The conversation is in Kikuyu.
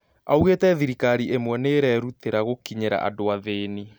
Aũgete thirikari imwe niirerutera gũkinyĩra andũ athĩni